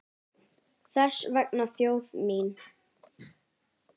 Þess vegna þjóð mín!